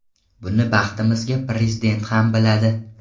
Buni, baxtimizga, Prezident ham biladi.